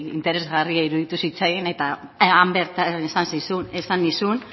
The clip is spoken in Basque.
interesgarria iruditu zitzaidan eta han bertan esan nizun